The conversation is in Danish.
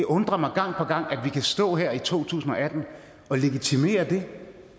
undrer mig gang på gang at vi kan stå her i to tusind og atten og legitimere det